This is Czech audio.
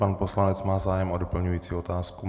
Pan poslanec má zájem o doplňující otázku?